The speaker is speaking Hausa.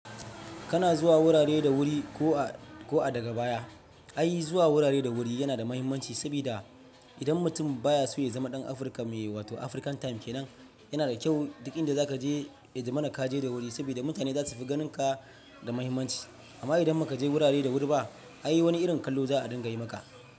Kana zuwa wurare da wuri ko a daga baya. Ai zuwa wurare da wuri yana da muhimmanci sabida idan mutum baya so ya zama ɗan Africa mai wato African time kenan, yana da kyau duk inda za ka je ya za mana ka je da wuri sabida mutane za su fi ganinka da muhimmanci. Amma idan ba ka je wurare da wuri ba, ai wani irin kallo za a dinga yi maka.